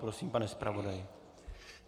Prosím, pane zpravodaji.